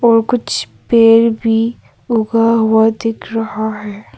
और कुछ पेड़ भी उगा हुआ दिख रहा है।